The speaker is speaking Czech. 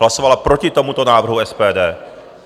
Hlasovali proti tomuto návrhu SPD.